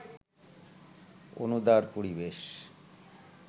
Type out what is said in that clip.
অনুদার পরিবেশ